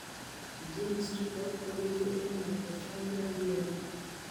Genes chutok kobitu eng' mitochondrial DNA.